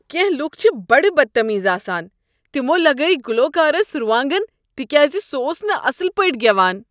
کینٛہہ لوک چھ بڈٕ بد تمیز آسان۔ تمو لگٲوۍ گلوکارس روانگن تکیاز سہ اوس نہٕ اصٕل پٲٹھۍ گیوان۔